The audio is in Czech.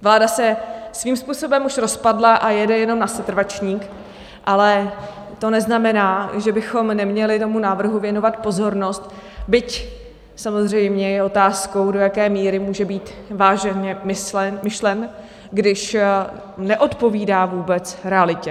Vláda se svým způsobem už rozpadla a jede jenom na setrvačník, ale to neznamená, že bychom neměli tomu návrhu věnovat pozornost, byť samozřejmě je otázkou, do jaké míry může být vážně myšlen, když neodpovídá vůbec realitě.